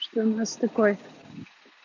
что у нас такой